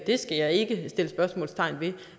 skal jeg ikke sætte spørgsmåltegn ved